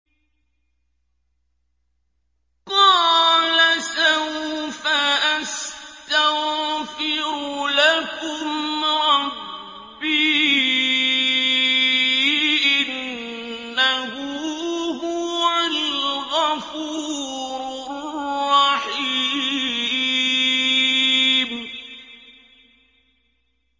قَالَ سَوْفَ أَسْتَغْفِرُ لَكُمْ رَبِّي ۖ إِنَّهُ هُوَ الْغَفُورُ الرَّحِيمُ